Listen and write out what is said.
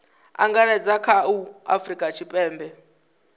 angaredza kha a afurika tshipembe